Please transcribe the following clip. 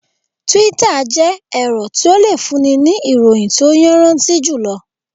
Túítà jẹ́ ẹ̀rọ tí o le fún ni ní ìròyìn tí o yanraanti julo